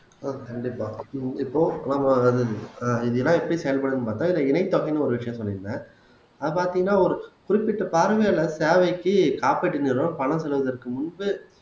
கண்டிப்பா இப்போ நம்ம ஆஹ் இதெல்லாம் எப்படி செயல்படும்ன்னு பார்த்தா இதுல இணை தொகைன்னு ஒரு விஷயம் சொல்லியிருந்தேன் அது பாத்தீங்கன்னா ஒரு குறிப்பிட்ட பார்வையாளர் தேவைக்கு காப்பீட்டு நிறுவனம் பணம் செலுத்துவதற்கு முன்பு